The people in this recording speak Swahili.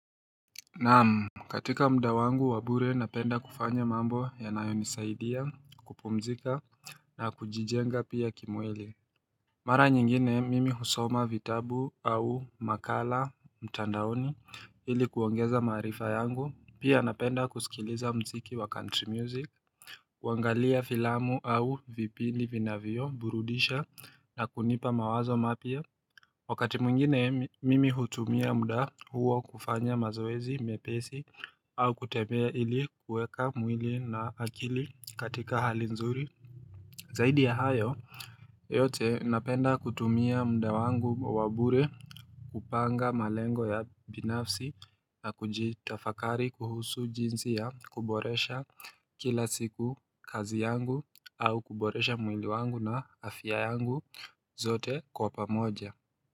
Naamu katika mda wangu wabure napenda kufanya mambo yanayo nisaidia kupumzika na kujijenga pia kimwili Mara nyingine mimi husoma vitabu au makala mtandaoni hili kuongeza maarifa yangu pia napenda kusikiliza mziki wa country music kuangalia filamu au vipindi vinavyo burudisha na kunipa mawazo mapya Wakati mwingine mimi hutumia mda huo kufanya mazoezi mepesi au kutemea ili kueka mwili na akili katika hali nzuri zaidi ya hayo yote napenda kutumia mda wangu wabure kupanga malengo ya binafsi na kujitafakari kuhusu jinsi ya kuboresha kila siku kazi yangu au kuboresha mwili wangu na afya yangu zote kwa pamoja.